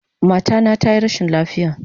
Mata na tayi rashin lafiya